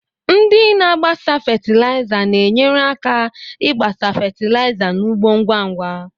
Ndị na-agbasa fatịlaịza na-enyere aka ịgbasa fatịlaịza n'ugbo ngwa ngwa.